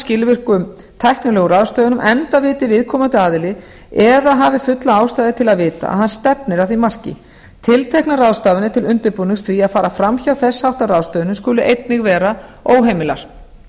skilvirkum tæknilegum ráðstöfunum enda viti viðkomandi aðili eða hafi fulla ástæðu til að vita að hann stefnir að því marki tilteknar ráðstafanir til undirbúnings því að fara framhjá þess háttar ráðstöfunum skuli einnig vera óheimilar